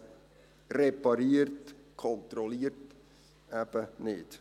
Wer repariert, kontrolliert eben nicht.